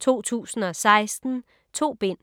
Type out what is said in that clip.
2016. 2 bind.